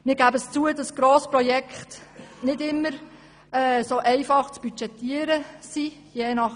Wir geben zu, dass Grossprojekte nicht immer einfach zu budgetieren sind.